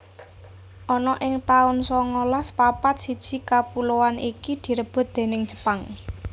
Ana ing taun songolas papat siji kapuloan iki direbut déning Jepang